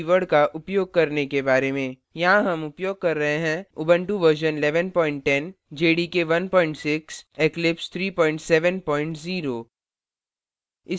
यहाँ हम उपयोग कर रहे हैं